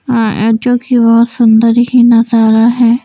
जो कि बहुत सुंदर ही नजारा है।